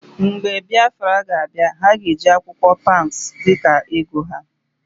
Mgbe Biafra ga abia, ha ga-eji akwụkwọ ego paụnsụ dika ego ha.